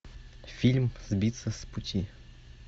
фильм сбиться с пути